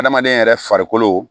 Adamaden yɛrɛ farikolo